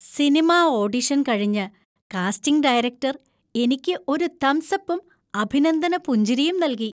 Cinema audition കഴിഞ്ഞ് casting director എനിക്ക് ഒരു തംസ്അപ്പും അഭിനന്ദന പുഞ്ചിരിയും നൽകി.